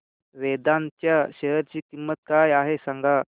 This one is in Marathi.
वेदांत च्या शेअर ची किंमत काय आहे सांगा